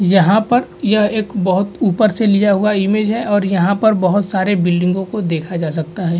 यहां पर यह एक बहत ऊपर से लिया हुआ इमेज है और यहां पर बहत सारे बिल्डिंगों को देखा जा सकता है।